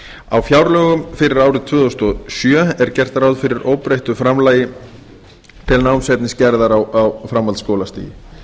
á fjárlögum fyrir árið tvö þúsund og sjö er gert ráð fyrir óbreyttu framlagi til námsefnisgerðar á framhaldsskólastigi